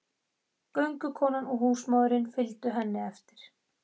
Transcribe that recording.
Göngukonan og húsmóðirin fylgdu henni eftir.